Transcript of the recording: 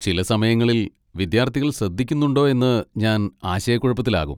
ചില സമയങ്ങളിൽ, വിദ്യാർത്ഥികൾ ശ്രദ്ധിക്കുന്നുണ്ടോ എന്ന് ഞാൻ ആശയക്കുഴപ്പത്തിലാകും.